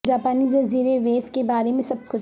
جاپانی جزیرے و وے کے بارے میں سب کچھ